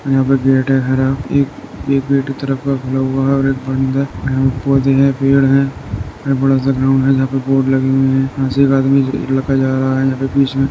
यहाँ पे गेट है हरा। एक एक गेट की तरफ का खुला हुआ है और एक बंद है। यहाँ पे पौधे हैं पेड़ हैं एक बड़ा सा ग्राउंड है जहाॅं पे बोर्ड लगी हुई है। यहाँ से एक आदमी लड़का जा रहा है